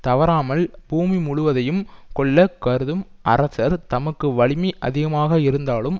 தவறாமல் பூமி முழுவதையும் கொள்ள கருதும் அரசர் தமக்கு வலிமை அதிகமாக இருந்தாலும்